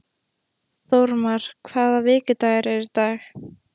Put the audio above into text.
Þórmar, hvaða vikudagur er í dag?